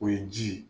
O ye ji ye